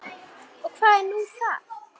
Og hvað er nú það?